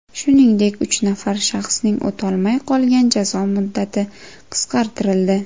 Shuningdek, uch nafar shaxsning o‘talmay qolgan jazo muddati qisqartirildi.